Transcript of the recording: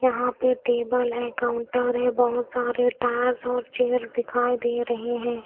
यहां पे टेबल है काउंटर है बहोत सारे टायर्स और चेयर दिखाई दे रहे हैं।